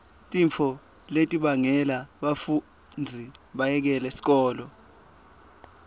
tintfo letibangela bafundzi bayekele sikolo